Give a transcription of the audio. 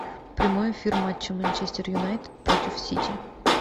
прямой эфир матча манчестер юнайтед против сити